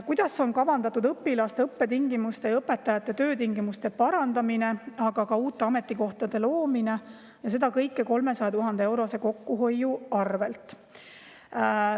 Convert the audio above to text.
"Kuidas on kavandatud õpilaste õppetingimuste ja õpetajate töötingimuste parandamine, aga ka uute ametikohtade loomine ja seda kõike 300 000 eurose kokkuhoiu arvelt?